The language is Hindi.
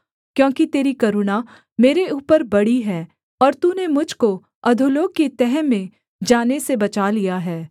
क्योंकि तेरी करुणा मेरे ऊपर बड़ी है और तूने मुझ को अधोलोक की तह में जाने से बचा लिया है